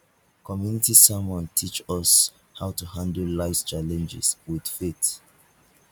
community sermon teach us how to handle lifes challenges with faith